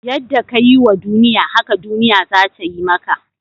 Yadda ka yi wa duniya, haka duniya za ta yi maka.